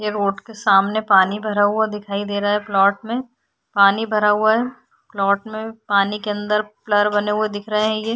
ये रोड के सामने पानी भरा हुआ दिखाई दे रहा है प्लाट में पानी भरा हुआ है प्लाट में पानी के अन्दर प्लर बने हुए दिख रहे है ये।